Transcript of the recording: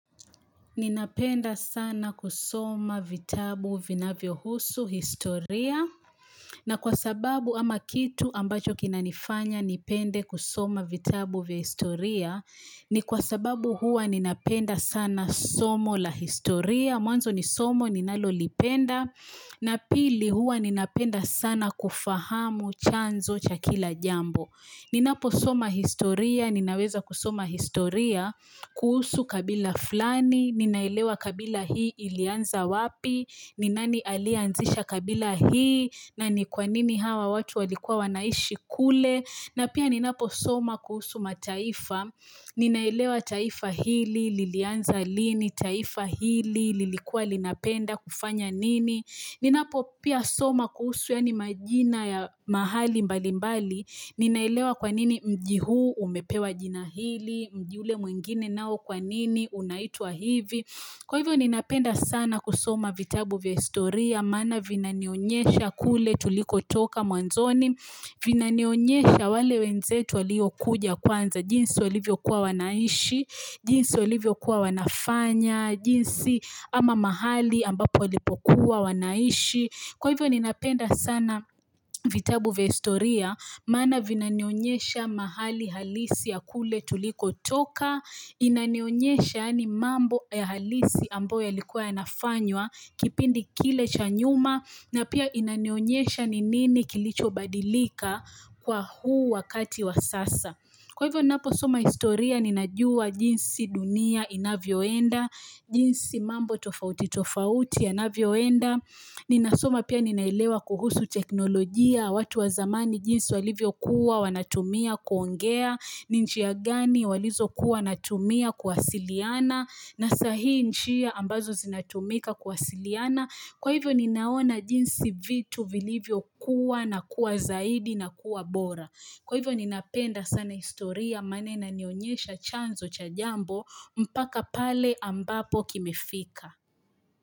Ninapenda sana kusoma vitabu vinavyo husu historia na kwa sababu ama kitu ambacho kina nifanya nipende kusoma vitabu vya historia. Ni kwa sababu hua ninapenda sana somo la historia. Mwanzo ni somo ninalolipenda na pili hua ninapenda sana kufahamu chanzo cha kila jambo. Ninapo soma historia, ninaweza kusoma historia, kuhusu kabila flani, ninaelewa kabila hii ilianza wapi? Ni nani aliyeanzisha kabila hii? Na ni kwa nini hawa watu walikuwa wanaishi kule? Na pia ninapo soma kuhusu mataifa, ninaelewa taifa hili, lilianza lini? Taifa hili, lilikuwa linapenda, kufanya nini? Ninapo pia soma kuhusu yani majina ya mahali mbali mbali, ninaelewa kwa nini mji huu umepewa jina hili? Mji ule mwingine nao kwa nini unaitwaa hivi? Kwa hivyo ninapenda sana kusoma vitabu vya historia, maana vinanionyesha kule tuliko toka mwanzoni, Vinanionyesha wale wenzetu walio kuja kwanza. Jinsi walivyo kuwa wanaishi, jinsi walivyo kuwa wanafanya.jinsi ama mahali ambapo walipo kuwa wanaishi. Kwa hivyo ninapenda sana. Vitabu vya historia. Maana vinanionyesha mahali halisi ya kule tuliko toka. Inanionyesha ni mambo ya halisi ambayo yalikuwa yanafanywa. Kipindi kile cha nyuma. Na pia inanionyesha ni nini kilicho badilika. Kwa huu wakati wa sasa. Kwa hivyo ninapo soma historia ninajua jinsi dunia inavyoenda. Jinsi mambo tofauti tofauti yanavyoenda. Ninasoma pia ninaelewa kuhusu teknolojia. Watu wa zamani jinsi walivyokuwa wanatumia kuongea. Ni njia gani walizokuwa wanatumia kuwasiliana. Na sahii njia mbazo zinatumika kuwasiliana. Kwa hivyo ninaona jinsi vitu vilivyokuwa na kuwa zaidi na kuwa bora. Kwa hivyo ninapenda sana historia, maana inionyesha chanzo cha jambo. Mpaka pale ambapo kimefika.